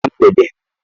Gịnị mere ná mgbede?